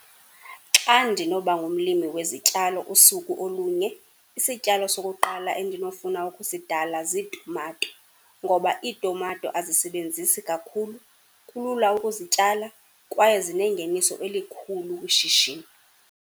Xa ndinoba ngumlimi wezityalo usuku olunye isityalo sokuqala endinofuna ukusidala ziitumato, ngoba iitumato azisebenzisi kakhulu, kulula ukuzityala kwaye zinengeniso elikhulu kwishishini.